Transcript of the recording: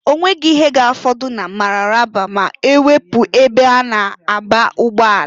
Onweghi ihe ga-afọdụ na Mararaba ma-ewepu ebe a na-aba ụgbọala.